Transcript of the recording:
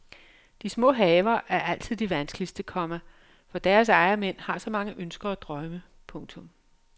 De små haver er altid de vanskeligste, komma fordi deres ejermænd har så mange ønsker og drømme. punktum